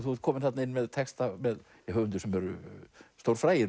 þú ert kominn þarna inn með texta með höfundum sem eru